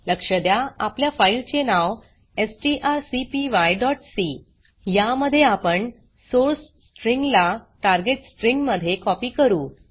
लक्ष द्या आपल्या फाइल चे नाव strcpyसी या मध्ये आपण सोर्स स्ट्रिंग ला टार्गेट स्ट्रिंग मध्ये कॉपी करू